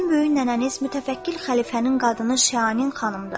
Sizin böyük nənəniz mütəfəkkir xəlifənin qadını Şahanin xanımdır.